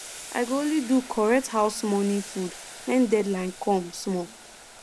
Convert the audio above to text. i go only do correct house morning food when deadline come small